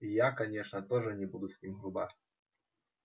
и я конечно тоже не буду с ним груба